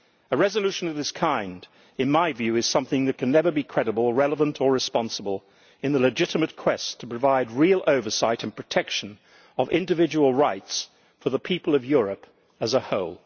A resolution of this kind, in my view, is something that can never be credible, relevant or responsible in the legitimate quest to provide real oversight and protection of individual rights for the people of Europe as a whole.